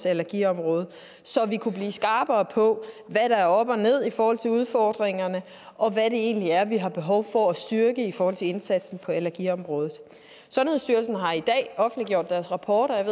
allergiområdet så vi kunne blive skarpere på hvad der er op og ned i forhold til udfordringerne og hvad det egentlig er vi har behov for at styrke i forhold til indsatsen på allergiområdet sundhedsstyrelsen har i dag offentliggjort deres rapport og jeg